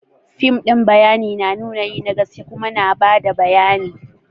Fim din bayani na nuna yi na gaske kuma na bada bayani.